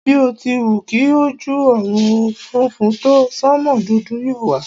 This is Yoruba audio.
Bí o ti wù kí ojú ọ̀run funfun tó, sánmò dúdú yóò wà.